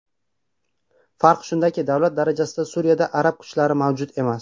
Farq shundaki, davlat darajasida Suriyada arab kuchlari mavjud emas.